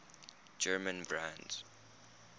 german brands